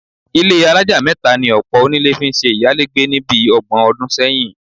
Ilé alájà mẹ́ta ni ọ̀pọ̀ onílé fi ń ṣe ìyálégbé ni bí ọgbọ̀n ọdún sẹ́yìn